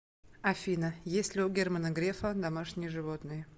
афина есть ли у германа грефа домашние животные